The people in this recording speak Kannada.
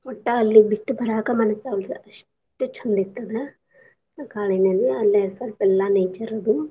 ಒಟ್ಟ ಅಲ್ಲೆ ಬಿಟ್ಬ ಬರಾಕ ಮನ್ಸ್ ಆಗ್ವಲ್ಲದು ಅಸ್ಟ ಚಂದಿತ್ ಅದ ಕಾಳಿ ನದಿ ಅಲ್ಲೆ ಸಲ್ಪ ಎಲ್ಲಾ nature ಅದು.